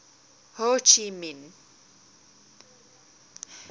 ho chi minh